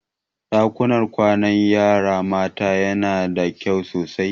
Ɗakunan kwanan yara maza yana da datti sosai.